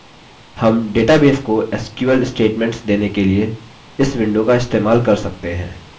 हम database को sql statements देने के लिए इस window का इस्तेमाल कर सकते हैं